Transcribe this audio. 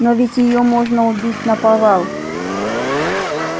но ведь её можно убить наповал